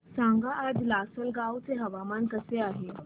सांगा आज लासलगाव चे हवामान कसे आहे